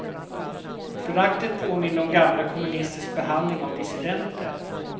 Föraktet påminde om gamla kommunisters behandling av dissidenter.